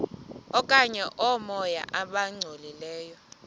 okanye oomoya abangcolileyo